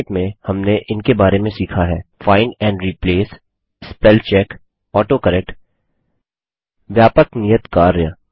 संक्षेप में हमने इनके बारे में सीखा हैः find and replace spell check autocorrect व्यापक नियत कार्य